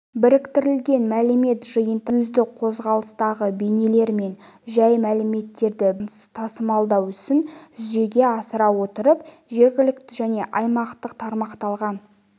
біріктірілген мәлімет жиындарын сөзді қозғалыстағы бейнелер мен жай мәліметтерді бір арнамен тасымалдау ісін жүзеге асыра отырып жергілікті және аймақтық тармақталған